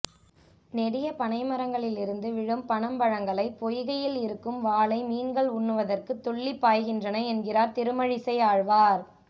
நெடிய பனைமரங்களிலிருந்து விழும் பனம் பழங்களை பொய்கையில் இருக்கும் வாளை மீன்கள் உண்ணுவதற்குத் துள்ளிப்பாய்கின்றன என்கிறார் திருமழிசை ஆழ்வார்